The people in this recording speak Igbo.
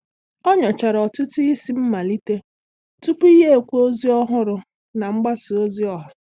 Ọ́ nyòchàrà ọtụ́tụ́ isi mmalite tupu yá ékwé ózị́ ọ́ hụ̀rụ́ na mgbasa ozi ọha.